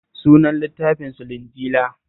Sunan littafinsu Linjila